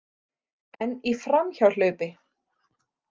En í framhjáhlaupi.